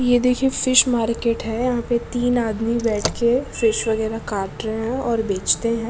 ये देखिये fish market है यहाँ पे तीन आदमी बैठके फिश वगैरा काट रहे है और बेचते है।